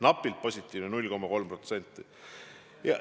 Napilt positiivne, 0,3%!